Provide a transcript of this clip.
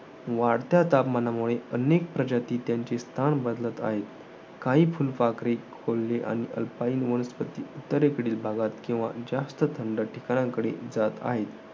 वाढत्या तापमानामुळे, अनेक प्रजाती त्यांचे स्थान बदलत आहे. काही फुलपाखरे, कोल्हे आणि वनस्पती उत्तरेकडील भागात किंवा जास्त थंड ठिकाणांकडे जात आहेत.